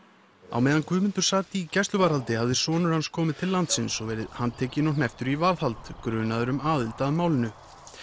á meðan Guðmundur sat í gæsluvarðhaldi hafði sonur hans komið til landsins og verið handtekinn og hnepptur í varðhald grunaður um aðild að málinu